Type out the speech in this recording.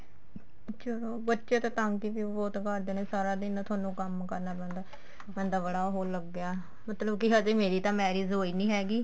ਚਲੋ ਬੱਚੇ ਤਾਂ ਤੰਗ ਵੀ ਬਹੁਤ ਕਰਦੇ ਨੇ ਸਾਰਾ ਦਿਨ ਤੁਹਾਨੂੰ ਕੰਮ ਕਰਨਾ ਪੈਂਦਾ ਬੰਦਾ ਬੜਾ ਹੋਣ ਲੱਗਿਆ ਮਤਲਬ ਕੀ ਹਜੇ ਮੇਰੀ ਤਾਂ marriage ਹੋਈ ਨੀ ਹੈਗੀ